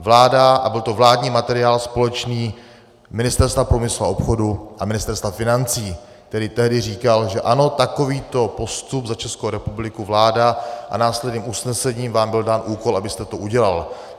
Vláda a byl to vládní materiál společný Ministerstva průmyslu a obchodu a Ministerstva financí, který tehdy říkal, že ano, takovýto postup za Českou republiku vláda a následným usnesením vám byl dán úkol, abyste to udělal.